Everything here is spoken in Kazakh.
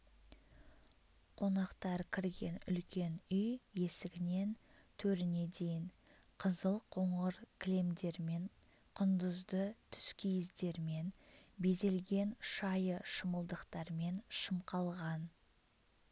қонақтар кірген үлкен үй есігінен төріне дейін қызыл қоңыр кілемдермен құндызды түскиіздермен безелген шайы шымылдықтармен шымқалған